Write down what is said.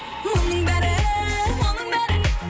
мұның бәрі мұның бәрі